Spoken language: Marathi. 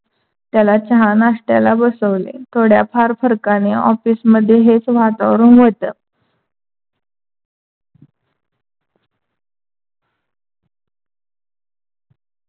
त्याला चहा नाष्टाला बसवले. थोड्या फार फरकाने office मध्ये हेच वातावरण होतं.